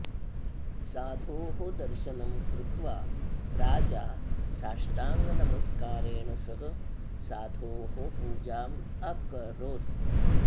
साधोः दर्शनं कृत्वा राजा साष्टाङ्गनमस्कारेण सह साधोः पूजाम् अकरोत्